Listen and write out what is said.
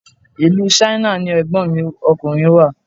Ìlú Ṣáínà ni Ẹ̀gbọ́n mi ọkùnrin wà.